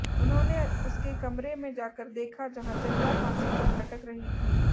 उन्होंने उसके कमरे में जाकर देखा जहां चंदा फांसी पर लटक रही थी